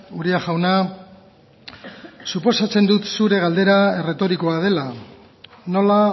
uria jauna suposatzen dut zure galdera erretorikoa dela nola